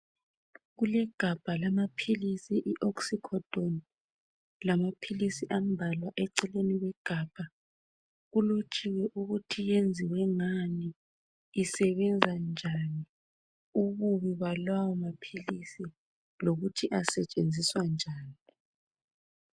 kulegabha lama philisi i oxycodone lamaphilisi ambalwa eceleni kwegabha kulotshiwe ukuthi yenziwe ngani isebenza njani ububi balawo maphilisi lokuthi asetshenziswa njani